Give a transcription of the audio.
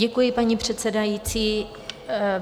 Děkuji, paní předsedající.